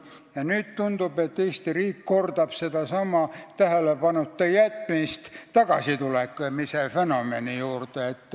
Ja nüüd tundub, et Eesti riik kordab sedasama tähelepanuta jätmist tagasitulemise fenomeni puhul.